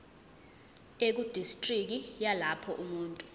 ekudistriki yalapho umuntu